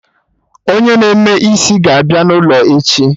Onye na-eme eme isi ga-abịa n'ụlọ echi